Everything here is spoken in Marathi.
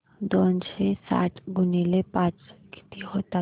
दोनशे साठ गुणिले पाच किती होतात